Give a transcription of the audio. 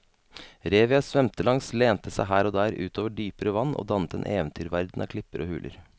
Revet jeg svømte langs lente seg her og der ut over dypere vann og dannet en eventyrverden av klipper og huler.